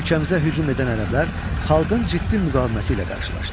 Ölkəmizə hücum edən ərəblər xalqın ciddi müqaviməti ilə qarşılaşdılar.